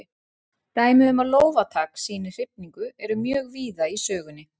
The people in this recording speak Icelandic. Dæmi um að lófatak sýni hrifningu eru mjög víða í sögunni.